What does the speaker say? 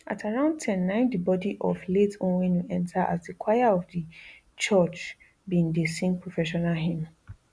at around ten na am di bodi of late onwenu enta as di choir of di church bin dey sing processional hymn